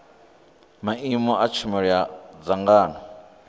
maimo a tshumelo a dzangano